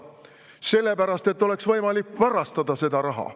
Sellepärast, et oleks võimalik varastada seda raha.